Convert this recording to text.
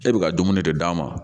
E bɛ ka dumuni de d'a ma